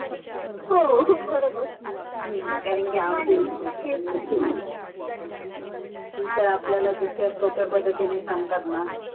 हो बरोबर हम्म कारण कि ते काय आपल्याला जितक्या सोप्या पद्धतीने सांगतात न